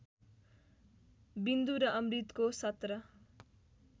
विन्दु र अमृतको १७